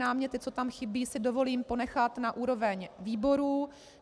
Náměty, co tam chybí, si dovolím ponechat na úroveň výborů.